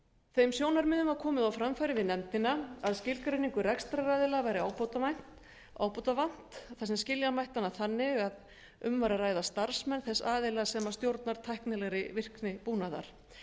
þeim sjónarmiðum var komið á framfæri við nefndina að skilgreiningu rekstraraðila væri ábótavant þar sem skilja mætti hana þannig að um væri að ræða starfsmenn þess aðila sem stjórnar tæknilegri virkni búnaðar